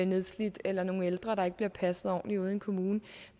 nedslidt eller nogle ældre der ikke bliver passet ordentligt ude i en kommune